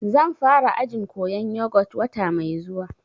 Zan fara ajin koyan yogut wata mai zuwa